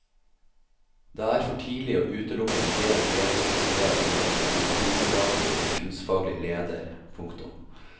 Det er for tidlig å utelukke en delt ledelsesmodell med en administrator og en kunstfaglig leder. punktum